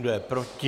Kdo je proti?